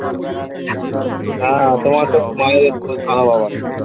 হ্যাঁ তোমার তো .